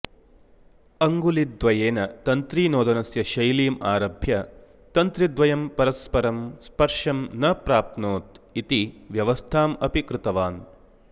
अङ्गुलिद्वयेन तन्त्रीनोदनस्य शैलीम् आरभ्य तन्त्रिद्वयं परस्परं स्पर्शं न प्राप्नोतो इति व्यवस्थाम् अपि कृतवान्